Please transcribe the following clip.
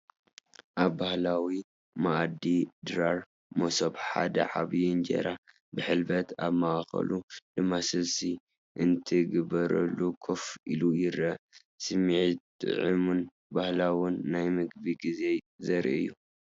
ኣብ ባህላዊ መኣዲ ድራር (መሶብ) ሓደ ዓቢይ እንጀራ ብሕልበት ኣብ ማእኸሉ ድማ ስልሲ እንትግበረሉ ኮፍ ኢሉ ይርአ፣ ስምዒት ጥዑምን ባህላውን ናይ ምግቢ ግዜ ዘርኢ እዩ።